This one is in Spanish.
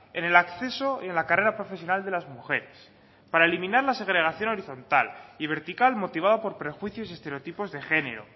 en el acceso y en la carrea profesional de las mujeres para eliminar la segregación horizontal y vertical motivado por prejuicios y estereotipos de género